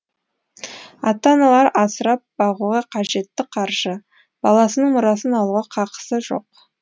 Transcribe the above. ата аналар асырап бағуға қажетті қаржы баласының мұрасын алуға қақысы жоқ